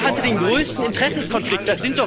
Wer hat den größten Interessenkonflikt?